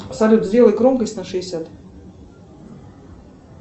салют сделай громкость на шестьдесят